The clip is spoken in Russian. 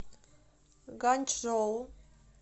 ганьчжоу